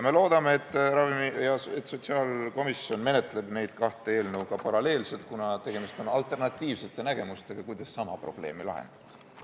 Me loodame, et sotsiaalkomisjon menetleb neid kaht eelnõu paralleelselt, kuna tegemist on alternatiivsete nägemustega, kuidas sama probleemi lahendada.